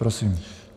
Prosím.